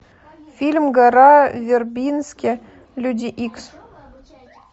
фильм гора вербински люди икс